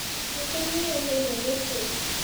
Guka nĩ areheirwo gĩtĩ